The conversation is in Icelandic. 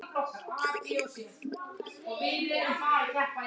Hún gerði heiminn betri.